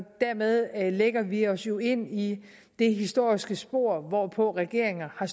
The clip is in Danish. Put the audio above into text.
dermed lægger vi os jo ind i det historiske spor hvor hvor regeringer har